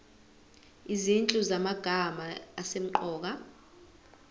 izinhlu zamagama asemqoka